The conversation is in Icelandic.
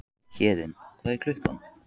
Héðinn, hvað er klukkan?